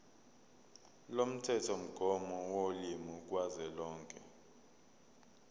lomthethomgomo wolimi kazwelonke